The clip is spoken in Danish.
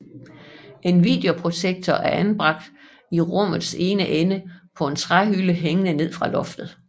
En videoprojektor anbragt i rummets ene ende på en træhylde hængende ned fra loftet